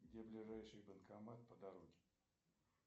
где ближайший банкомат по дороге